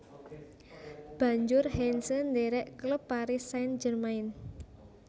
Banjur Heinze ndherek klub Paris Saint Germain